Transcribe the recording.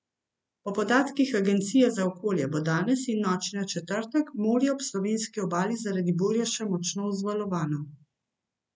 Po podatkih agencije za okolje bo danes in v noči na četrtek morje ob slovenski obali zaradi burje še močno vzvalovano.